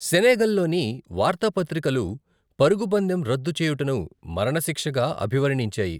సెనెగల్లోని వార్తాపత్రికలు, పరుగు పందెం రద్దు చేయుటను మరణశిక్షగా అభివర్ణించాయి.